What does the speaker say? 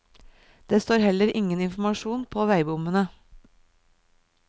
Det står heller ingen informasjon på veibommene.